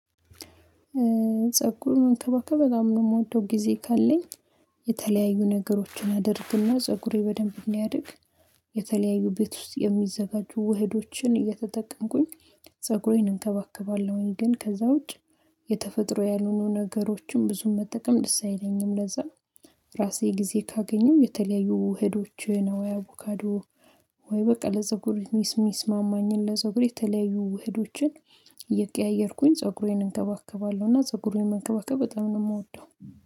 ፀጉርን መንከባከብ በጣም ነው የምወደው። ጊዜ ካለኝ የተለያዩ ነገሮችን አደርግና ፀጉሬ በደንብ እናያድግ። የተለያዩ ቤት ውስጥ የሚዘጋጁ ውህዶችን እየተጠቀምኩኝ እንከባከባለሁኝ። ግን ከዛ ውጭ የተፈጥሮ ያልሆኑ ነገሮችን ብዙም መጠቀም ደስ አይለኝም ለዛ ነው። ራሴ ጊዜ ካገኘው የተለያዩ ውህዶችን አቦካዶ ወይ በቃ ለፀጉሬ ሚስሚስ ማማኝን ለዘጉሬ የተለያዩ ውህዶችን እየቀያየርኩኝ ዘጉሬን እንከባከባለሁ እና ፀጉሩን መከባከብ በጣም ነው የምወደው